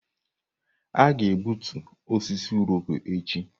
Aga-egbutu osisi Irọko echi.